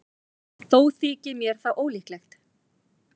Þó þykir mér það ólíklegt.